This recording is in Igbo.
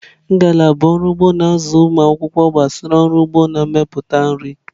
Ngalaba ọrụ ugbo na-azụ ụmụ akwụkwọ gbasara ọrụ ugbo na mmepụta nri.